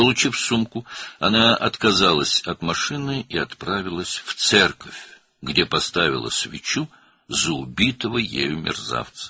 Çantanı alandan sonra maşından imtina etdi və kilsəyə getdi, orada öldürdüyü alçağın ruhu üçün şam yandırdı.